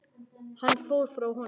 Hann fór frá honum.